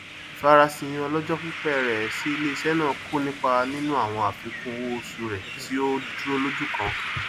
ìfarasìn ọlọjọ pípẹ rẹ sí iléeṣẹ náà kò nipa nínú àwọn àfikún owó oṣù rẹ tí ó dúró lójú kan